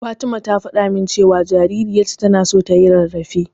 Fatima ta faɗa min cewa jaririyarta tana so tayi rarrafe.